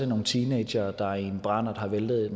nogle teenagere der i en brandert har væltet